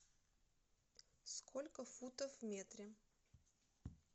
сколько футов в метре